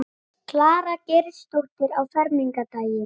Klara Geirsdóttir á fermingardaginn.